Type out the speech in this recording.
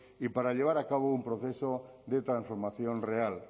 y para llevar a cabo un proceso de transformación real